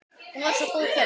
Hún var svo góð kona